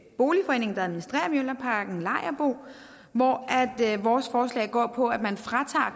boligforening der administrerer mjølnerparken lejerbo hvor vores forslag går på at man fratager